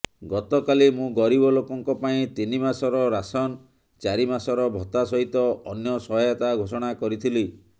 ଗତକାଲି ମୁଁ ଗରିବଲୋକଙ୍କ ପାଇଁ ତିନିମାସର ରାସନ ଚାରିମାସର ଭତ୍ତା ସହିତ ଅନ୍ୟ ସହାୟତା ଘୋଷଣା କରିଥିଲି